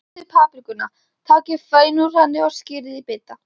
Hreinsið paprikuna, takið fræin úr henni og skerið í bita.